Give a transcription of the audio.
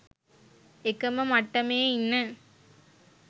එකම මට්ටමේ ඉන්න